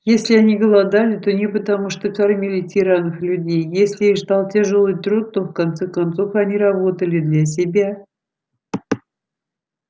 если они голодали то не потому что кормили тиранов-людей если их ждал тяжёлый труд то в конце концов они работали для себя